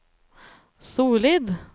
solid